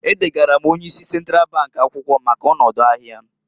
E degara m onye isi Sentral bank akwụkwọ maka ọnọdụ ahịa m.